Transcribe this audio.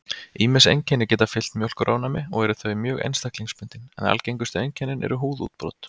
Ýmis einkenni geta fylgt mjólkurofnæmi og eru þau mjög einstaklingsbundin, en algengustu einkennin eru húðútbrot.